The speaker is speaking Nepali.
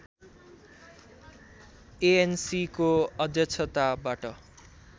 एएनसीको अध्यक्षताबाट